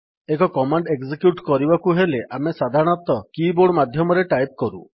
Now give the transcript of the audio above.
ଏକ command execute କରିବାକୁ ହେଲେ ଆମେ ସାଧାରଣତଃ କିବୋର୍ଡ ମାଧ୍ୟମରେ ଟାଇପ୍ କରୁ